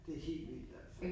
Det helt vildt altså